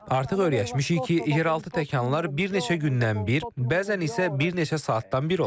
Artıq öyrəşmişik ki, yeraltı təkanlar bir neçə gündən bir, bəzən isə bir neçə saatdan bir olur.